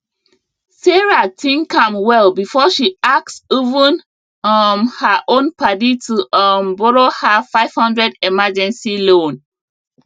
sarah think am well before she ask even um her own padi to um borrow her five hundred emergency loan